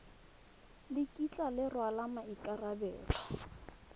le kitla le rwala maikarabelo